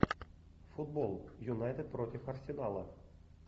футбол юнайтед против арсенала